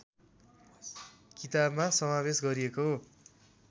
किताबमा समावेश गरिएका